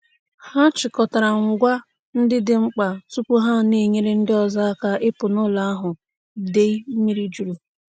Ha chịkọtara ngwa ndị dị mkpa tupu ha enyere ndị ọzọ aka ịpụ n'ụlọ ahụ idei mmiri juru.